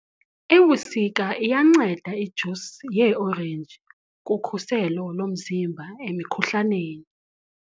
Ebusika iyanceda ijusi yeeorenji kukhuselo lomzimba emikhuhlaneni.